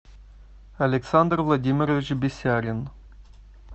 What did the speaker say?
александр владимирович бесярин